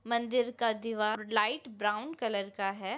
मंदिर का दीवार लाइट ब्राउन कलर का है।